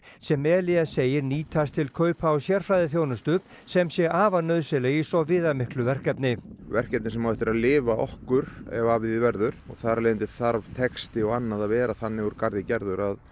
sem Elías segir nýtist til kaupa á sérfræðiþjónustu sem sé afar nauðsynleg í svo viðamiklu verkefni verkefni sem á eftir að lifa okkur ef af því verður og þar af leiðandi þarf texti og annað að vera þannig úr garði gerður að